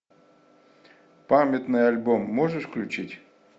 памятный альбом можешь включить